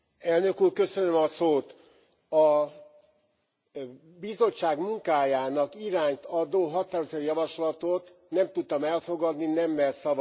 A Bizottság munkájának irányt adó határozati javaslatot nem tudtam elfogadni, nemmel szavaztam rá.